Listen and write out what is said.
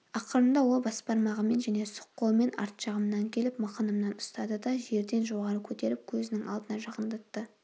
ақырында ол басбармағымен және сұқ қолымен арт жағымнан келіп мықынымнан ұстады да жерден жоғары көтеріп көзінің алдына жақындатты